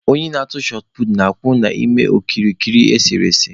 Onye na-atụ shọt puutu na-akwụ n'ime okirikiri esere ese.